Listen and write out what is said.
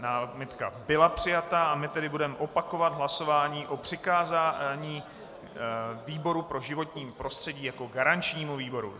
Námitka byla přijata a my tedy budeme opakovat hlasování o přikázání výboru pro životní prostředí jako garančnímu výboru.